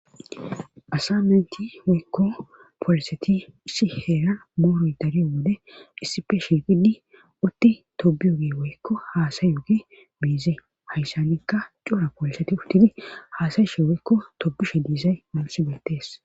Asa menti woykko pooliseti issi heera mooroy dariyo wode issife shiqidi utti tobiyoge woykko haasayu gi beize hayssanikka cora pooliseti udtidi haasayu she woykko tobishe diisay mamsi beettees